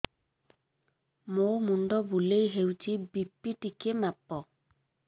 ମୋ ମୁଣ୍ଡ ବୁଲେଇ ହଉଚି ବି.ପି ଟିକେ ମାପ